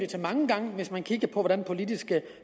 til mange gange hvis man kigger på hvordan politiske